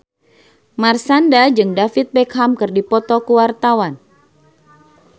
Marshanda jeung David Beckham keur dipoto ku wartawan